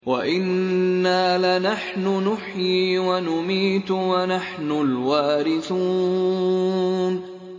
وَإِنَّا لَنَحْنُ نُحْيِي وَنُمِيتُ وَنَحْنُ الْوَارِثُونَ